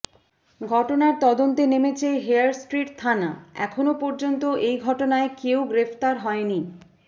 ঘটনার তদন্তে নেমেছে হেয়ার স্ট্রিট থানা এখনও পর্যন্ত এই ঘটনায় কেউ গ্রেফতার হয়নি